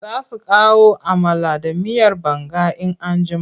Za su kawo amala da miyar banga in an jima.